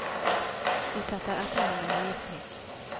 De setter etter ham med høye skrik.